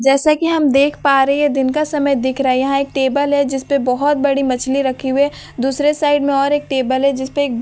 जैसा कि हम देख पा रहे है दिन का समय दिख रहा है यहाँ एक टेबल है जिसपे बहुत बड़ी मछली रखी हुई है दूसरे साइड मे और एक टेबल है जिसपे एक पानी--